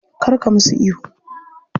Kar ka musu ihu.